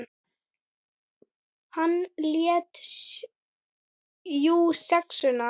Hann lét jú SEXUNA.